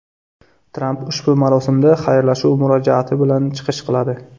Tramp ushbu marosimda xayrlashuv murojaati bilan chiqish qiladi.